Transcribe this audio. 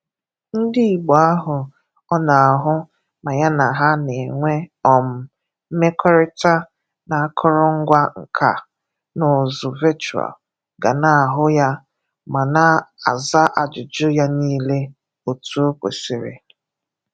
Ndị Igbo ahụ ọ na-ahụ ma ya na ha na-enwe um mmekọrịta na akọrọgwa nka na ụzụ vechụal ga na-ahụ ya ma na-aza ajụjụ ya niile otu o kwesịrị.